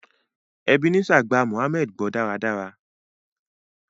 Ebenezer gbà mohammed gbó dáradára.